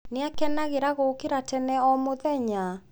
Nĩ akenagĩra gũũkĩra tene o mũthenya?